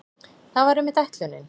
Það var einmitt ætlunin.